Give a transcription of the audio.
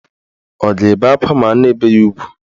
Ọ ga-ebe akwa ma a na-ebe ya ugwu?